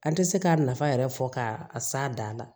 An tɛ se k'a nafa yɛrɛ fɔ k'a s'a dan na